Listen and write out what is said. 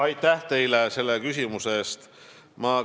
Aitäh teile selle küsimuse eest!